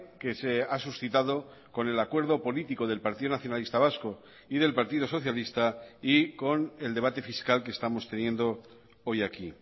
que se ha suscitado con el acuerdo político del partido nacionalista vasco y del partido socialista y con el debate fiscal que estamos teniendo hoy aquí